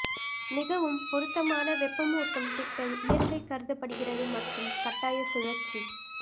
மிகவும் பொருத்தமான வெப்பமூட்டும் திட்டம் இயற்கை கருதப்படுகிறது மற்றும் கட்டாய சுழற்சி